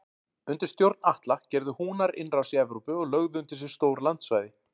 Undir stjórn Atla gerðu Húnar innrás í Evrópu og lögðu undir sig stór landsvæði.